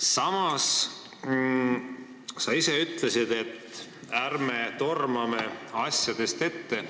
Samas sa ise ütlesid, et ärme tormame asjadest ette.